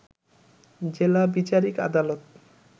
জেলা বিচারিক আদালত